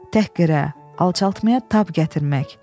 Təhqirə, alçaltmaya tab gətirmək.